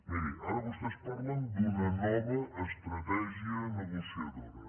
miri ara vostès parlen d’una nova estratègia negociadora